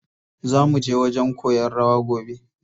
Zaa muje wajen koyan rawa gobe.